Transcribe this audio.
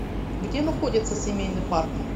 где находится семейный парк